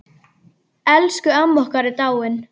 Elsku amma okkar er dáin.